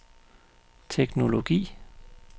teknologi